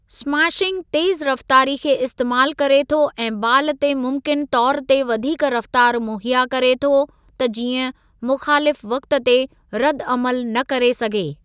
Smashing तेज़ रफ़्तारी खे इस्तेमालु करे थो ऐं बालु ते मुमकिनु तौर ते वधीक रफ़्तार मुहैया करे थो त जीअं मुख़ालिफ़ु वक़्ति ते रदि अमलु न करे सघे।